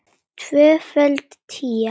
Tvöföld tía.